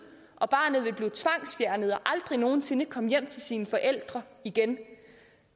og barnet ville blive tvangsfjernet og aldrig nogen sinde komme hjem til sine forældre igen